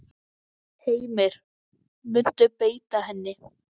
Heimir: Muntu beita henni?